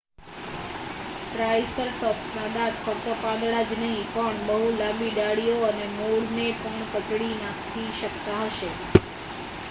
ટ્રાયસરટૉપ્સના દાંત ફક્ત પાંદડાં જ નહીં પણ બહુ લાંબી ડાળીઓ અને મૂળને પણ કચડી નાખી શકતા હશે